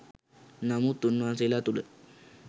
නමුත් උන්වහන්සේලා තුළ